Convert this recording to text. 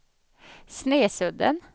Snesudden